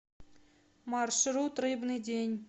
маршрут рыбный день